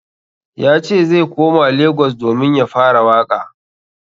Yace zai koma Lagos domin ya fara waƙa.